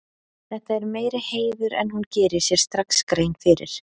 Þetta er meiri heiður en hún gerir sér strax grein fyrir.